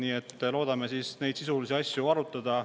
Nii et loodame neid sisulisi asju arutada.